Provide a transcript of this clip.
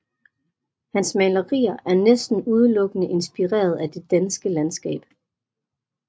Hans malerier er næsten udelukkende inspireret af det danske landskab